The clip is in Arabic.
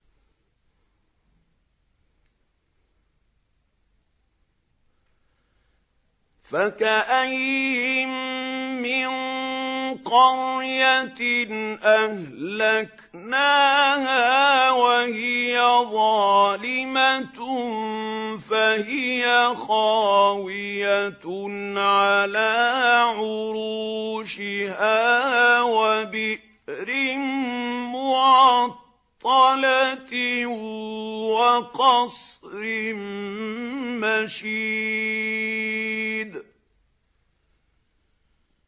فَكَأَيِّن مِّن قَرْيَةٍ أَهْلَكْنَاهَا وَهِيَ ظَالِمَةٌ فَهِيَ خَاوِيَةٌ عَلَىٰ عُرُوشِهَا وَبِئْرٍ مُّعَطَّلَةٍ وَقَصْرٍ مَّشِيدٍ